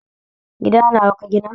Gida nawa ka gina?